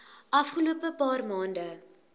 afgelope paar maande